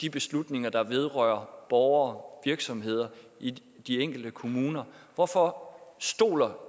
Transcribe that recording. de beslutninger der vedrører borgere og virksomheder i de enkelte kommuner hvorfor stoler